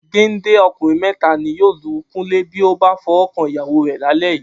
Géńdé ọkùnrin mẹ́ta ni yóò lu Kúnlé bí ó bá fọwọ́ kan ìyàwó rẹ̀ lálẹ́ yìí.